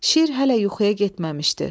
Şir hələ yuxuya getməmişdi.